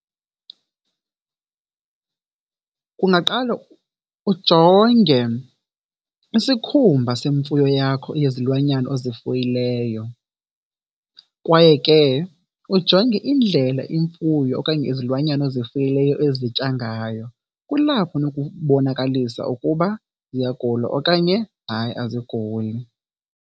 Kungaqale ujonge isikhumba semfuyo yakho, yezilwanyana ozifuyileyo kwaye ke ujonge indlela imfuyo okanye izilwanyana ozifuyileyo ezitya ngayo. Kulapho unokubonakalisa ukuba ziyagula okanye hayi aziguli.